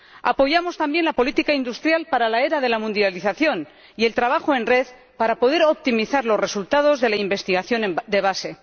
Apoyamos también la política industrial para la era de la mundialización y el trabajo en red para poder optimizar los resultados de la investigación de base.